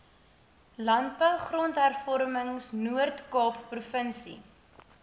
landbou grondhervormingnoordkaap provinsie